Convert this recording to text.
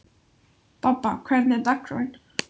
Bobba, hvernig er dagskráin?